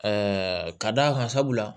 ka d'a kan sabula